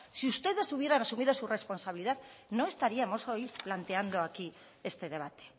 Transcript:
si ustedes hubieran asumido su responsabilidad no estaríamos hoy planteando aquí este debate